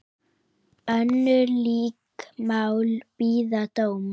Önnur lík mál bíða dóms.